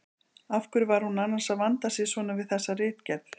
Af hverju var hún annars að vanda sig svona við þessa ritgerð!